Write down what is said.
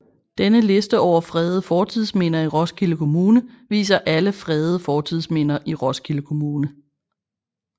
Denne liste over fredede fortidsminder i Roskilde Kommune viser alle fredede fortidsminder i Roskilde Kommune